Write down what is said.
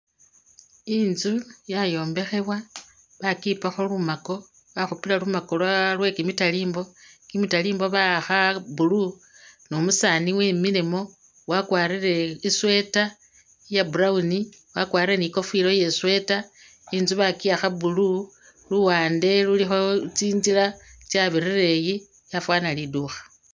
Intsu yayombekhebwa bakipakho lumaako bakhupila lumaako lwa lwekimitalimbwa, kimitalimbwa ba'akha blue ne umusaani wemilemo wakwarile i'sweater iya' brown, wakwarile ni'kofila iye' sweater inzu bakiwaakha blue luwande lulikho tsinzila tsibirila eyi yafaana liduukha.